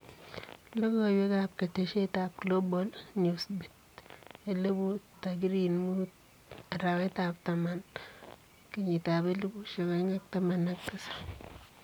Logoweek ab ketesiet ab Global Newsbeat 1000 tarikiit 05.10.2017.